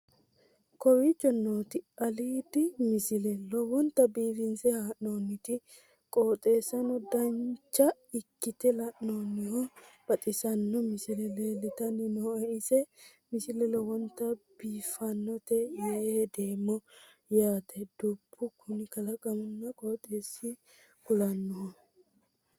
kowicho nooti aliidi misile lowonta biifinse haa'noonniti qooxeessano dancha ikkite la'annohano baxissanno misile leeltanni nooe ini misile lowonta biifffinnote yee hedeemmo yaate dubbu kuni kalaqionna qooxeessa kulannoho